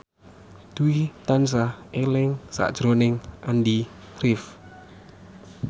Dwi tansah eling sakjroning Andy rif